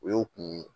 O y'o kun ye